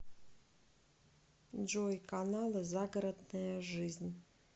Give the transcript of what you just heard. джой каналы загородная жизнь